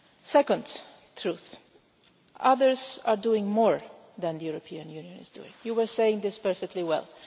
Second truth, others are doing more than the European Union is doing, you were saying this perfectly well.